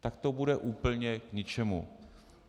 Tak to bude úplně k ničemu.